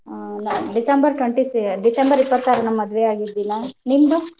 ಆ December twenty-si~ December ಇಪ್ಪತ್ತಾರ ನಮ್ಮ್ ಮದ್ವೆ ಆಗಿದ್ದ ದಿನಾ ನಿಂದು?